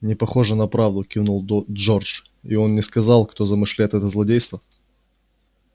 непохоже на правду кивнул джордж и он не сказал кто замышляет это злодейство